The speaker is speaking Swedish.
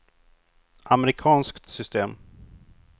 amerikanskt system